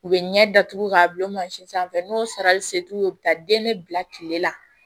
U bɛ ɲɛ datugu k'a bila mansin sanfɛ n'o sarali se t'u ye u bɛ taa den ne bila tile la